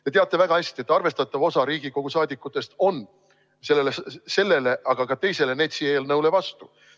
Te teate väga hästi, et arvestatav osa Riigikogu liikmetest on sellele ja ka teisele NETS-i eelnõule vastu.